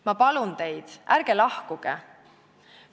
Ma palun teid: ärge lahkuge!